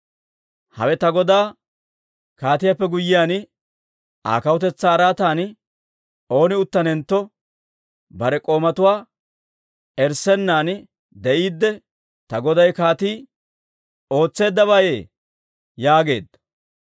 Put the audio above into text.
Hawe ta godaa kaatiyaappe guyyiyaan Aa kawutetsaa araatan ooni uttanentto bare k'oomatuwaa erissennan de'iidde ta goday kaatii ootseeddabeeyye?» yaageedda.